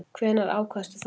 Hvenær ákvaðstu það?